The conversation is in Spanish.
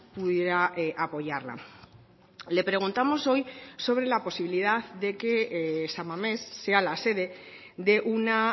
pudiera apoyarla le preguntamos hoy sobre la posibilidad de que san mamés sea la sede de una